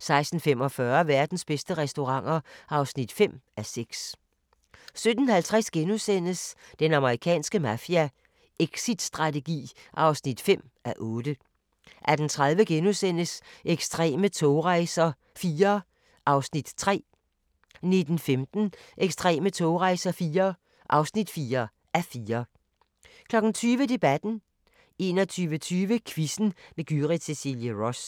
16:45: Verdens bedste restauranter (5:6) 17:50: Den amerikanske mafia: Exitstrategi (5:8)* 18:30: Ekstreme togrejser IV (3:4)* 19:15: Ekstreme togrejser IV (4:4) 20:00: Debatten 21:30: Quizzen med Gyrith Cecilie Ross